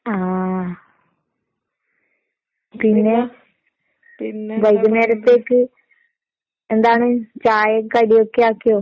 ആഹ്. പിന്നെ വൈകുന്നേരത്തേക്ക് എന്താണ് ചായേം കടിയൊക്കെയാക്കിയോ?